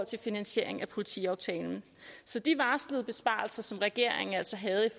til finansiering af politiaftalen så de varslede besparelser som regeringen altså havde i